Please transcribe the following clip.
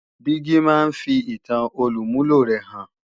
Dígí máa ń fi ìtan olùmúlò rẹ hàn